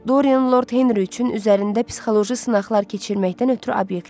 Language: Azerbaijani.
Dorian Lord Henri üçün üzərində psixoloji sınaqlar keçirməkdən ötrü obyektdir.